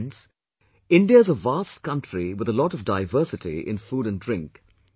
Friends, India is a vast country with a lot of diversity in food and drink